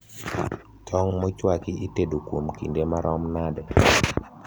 tong mochwaki itedo kuom kinde marom nade